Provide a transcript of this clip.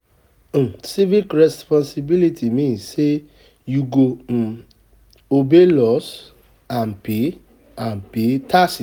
Civic responsibility mean say you go um obey laws and pay, and pay taxes